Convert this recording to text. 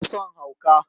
Ba na son hauka!